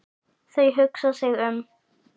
Þau hugsa sig um.